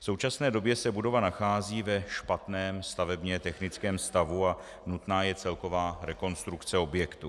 V současné době se budova nachází ve špatném stavebně technickém stavu a nutná je celková rekonstrukce objektu.